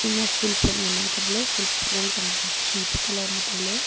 ma ful pot nganaa kapley ful pot yangchangba khipe colour ma tailey.